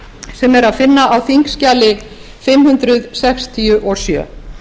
sem er að finna á þingskjali fimm hundruð sextíu og sjö